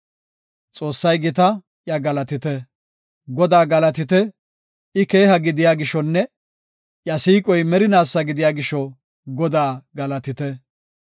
Godaa galatite! I keeha gidiya gishonne iya siiqoy merinaasa gidiya gisho, Godaa galatite.